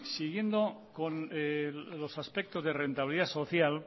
siguiendo con los aspectos de rentabilidad social